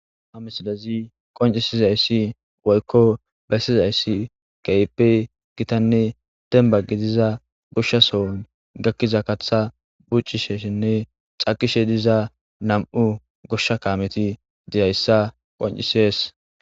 Ha missilez qonccisizayissi woyikko bessizaysi kehippe gittanne demba gidza gosha soohon gakida kaththa bucishenne cakishe diza nam'u goshsha kameti dizayissa besses